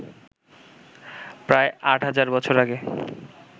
প্রায় আট হাজার বছর আগে